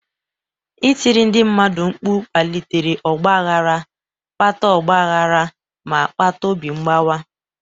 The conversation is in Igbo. Ịtiri ndị mmadụ mkpu kpalitere ọgba aghara, kpata ọgba aghara, ma kpata obi mgbawa.